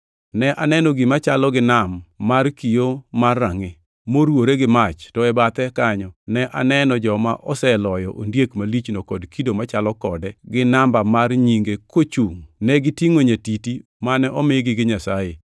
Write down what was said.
Ne aneno gima chalo gi nam mar kio mar rangʼi moruwore gi mach to e bathe kanyo ne aneno joma oseloyo ondiek malichno kod kido machalo kode to gi namba mar nyinge kochungʼ. Negitingʼo nyatiti mane omigi gi Nyasaye,